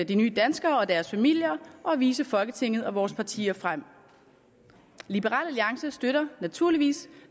de nye danskere og deres familier og vise folketinget og vores partier frem liberal alliance støtter naturligvis